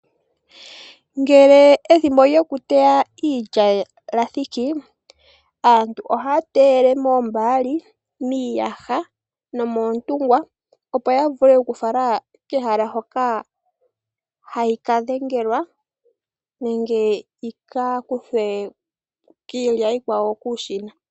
Ngele ethimbo lyokuteya iilya lya thiki, aantu oha ya teyele mombaali, miiyaha nomoontungwa opo ya vule okufala kehala hoka hayi ka dhengelwa yi ka kuthwe kiilya iikwawo kuushina.